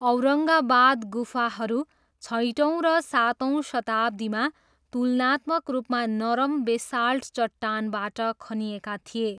औरङ्गाबाद गुफाहरू छैटौँ र सातौँ शताब्दीमा तुलनात्मक रूपमा नरम बेसाल्ट चट्टानबाट खनिएका थिए।